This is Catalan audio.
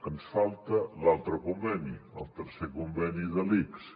ens falta l’altre conveni el tercer conveni de l’ics